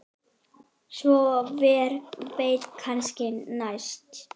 Svo hver veit, kannski næst?